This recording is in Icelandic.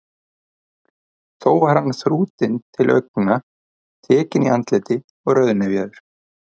Þó var hann þrútinn til augna, tekinn í andliti og rauðnefjaður.